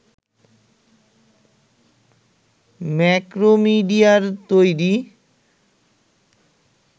ম্যাক্রোমিডিয়ার তৈরি